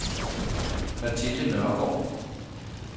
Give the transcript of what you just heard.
Mathilde Nørregaard